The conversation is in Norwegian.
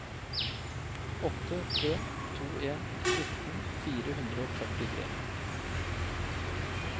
åtte tre to en sytten fire hundre og førtitre